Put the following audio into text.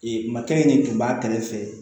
Ee makiri de tun b'a kɛrɛfɛ